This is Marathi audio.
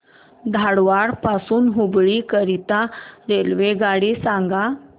धारवाड पासून हुबळी करीता रेल्वेगाडी सांगा